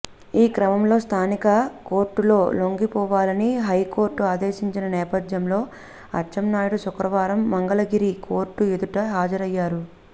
ఈ క్రమంలో స్థానిక కోర్టులో లొంగిపోవాలని హైకోర్టు ఆదేశించిన నేపథ్యంలో అచ్చెన్నాయుడు శుక్రవారం మంగళగిరి కోర్టు ఎదుట హాజరయ్యారు